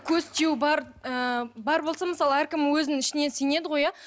көз тию бар ы бар болса мысалы әркімнің өзінің ішінен сенеді ғой иә